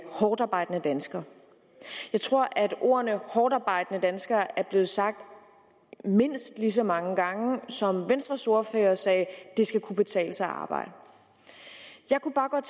hårdtarbejdende danskere jeg tror at ordene hårdtarbejdende danskere er blevet sagt mindst lige så mange gange som venstres ordfører sagde det skal kunne betale sig at arbejde jeg kunne bare godt